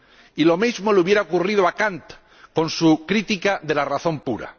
Y lo mismo le hubiera ocurrido a Kant con su Crítica de la razón pura